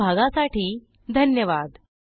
सहभागासाठी धन्यवाद